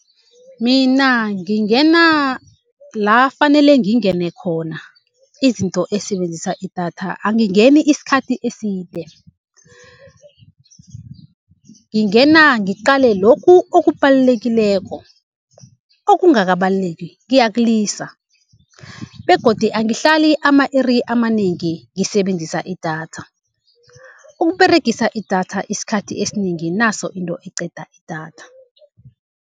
Mina ngingena la fanele ngingene khona, izinto ezisebenzisa idatha angingeni isikhathi eside. Ngingena ngiqale lokhu okubalulekileko okungakabaluleki ngiyakulisa. Begodu angihlali ama-iri amanengi ngisebenzisa idatha, ukUberegisa idatha isikhathi esinengi naso into eqeda idatha.